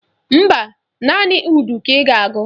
Mba, naanị udu ka ị ga-akụ